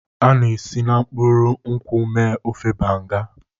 A na-esi na mkpụrụ nkwụ mee ofe Banga.